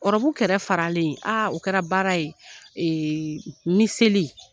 ɔrɔbu kɛra faralen o kɛra baara ye miseli